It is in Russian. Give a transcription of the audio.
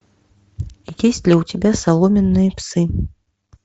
есть ли у тебя соломенные псы